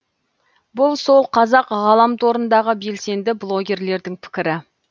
бұл сол қазақ ғаламторындағы белсенді блогерлердің пікірі